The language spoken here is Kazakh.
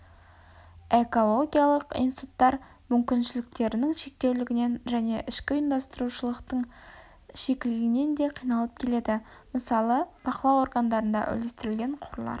экологиялық институттар мүмкіншіліктерінің шектеулігінен және ішкі ұйымдасушылықтың шикілігінен де қиналып келеді мысалы бақылау органдарында үлестірілген қорлар